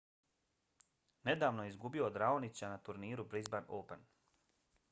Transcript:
nedavno je izgubio od raonića na turniru brisban open